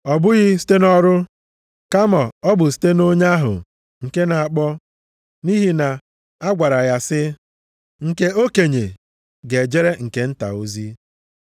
ọ bụghị site nʼọrụ kama ọ bụ site nʼonye ahụ nke na-akpọ, nʼihi na a gwara ya sị, “Nke okenye ga-ejere nke nta ozi.” + 9:12 \+xt Jen 25:23\+xt*